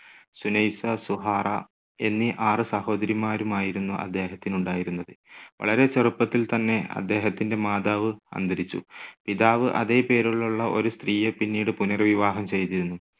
സുനൈസ, സുഹാറ എന്നീ ആറ് സഹോദരിമാരുമായിരുന്നു അദ്ദേഹത്തിനുണ്ടായിരുന്നത്. വളരെ ചെറുപ്പത്തിൽ തന്നെ അദ്ദേഹത്തിന്റെ മാതാവ് അന്തരിച്ചു. പിതാവ് അതേ പേരിലുള്ള ഒരു സ്ത്രീയെ പിന്നീട് പുനർവിവാഹം ചെയ്തിരുന്നു.